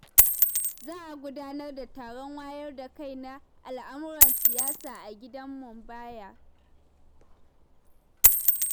Za a gudanar da taron wayar da kai na al'amuran siyasa a gidan Munbayya.